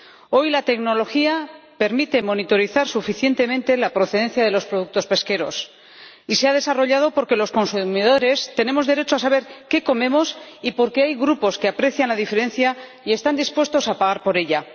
Hoy la tecnología permite monitorizar suficientemente la procedencia de los productos pesqueros y se ha desarrollado porque los consumidores tenemos derecho a saber qué comemos y porque hay grupos que aprecian la diferencia y están dispuestos a pagar por ella.